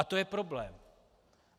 A to je problém.